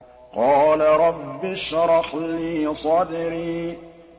قَالَ رَبِّ اشْرَحْ لِي صَدْرِي